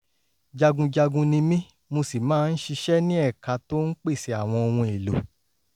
jagunjagun ni mí mo sì máa ń ṣiṣẹ́ ní ẹ̀ka tó ń pèsè àwọn ohun-èlò